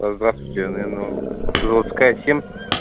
здравствуйте я наверное автозаводская семь